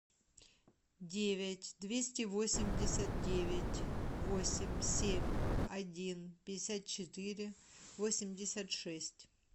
девять двести восемьдесят девять восемь семь один пятьдесят четыре восемьдесят шесть